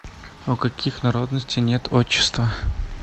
у каких народностей нет отчества